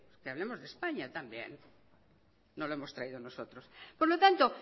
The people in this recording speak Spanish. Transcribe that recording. que hablemos de españa también no lo hemos traído nosotros por lo tanto